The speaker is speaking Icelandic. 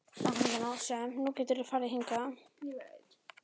Þegar til lengdar lætur er borin virðing fyrir þessum eiginleikum.